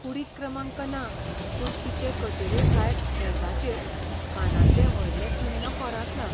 कुडीक क्रमांक ना, पूण तिचे कचेरे भायर मेजाचेर खानाचें व्हडलें चिन्न कोरांतलां.